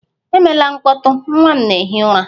Emela mkpọtụ! Nwa m na-ehi ụra